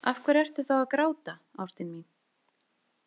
Af hverju ertu þá að gráta, ástin mín?